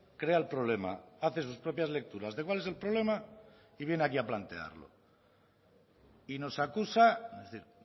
crea el problema hace sus propias lecturas de cuál es el problema y viene aquí a plantearlo y nos acusa es decir